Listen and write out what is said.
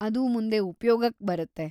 ಅದು ಮುಂದೆ ಉಪ್ಯೋಗಕ್ ಬರುತ್ತೆ.